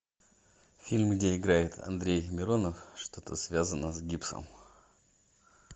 фильм где играет андрей миронов что то связано с гипсом